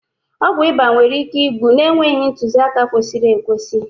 ọgwụ ịba nwere ike ịgbụ na-enweghị ntuziaka kwesịrị ekwesị